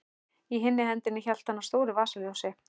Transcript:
Í hinni hendinni hélt hann á stóru vasaljósi.